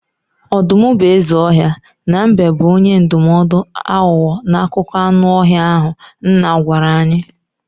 Ọdụm bụ eze ọhịa na mbe bụ onye ndụmọdụ aghụghọ n'akụkọ anụ ọhịa ahụ nna gwara anyị.